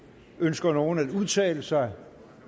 ønsker nogen at udtale sig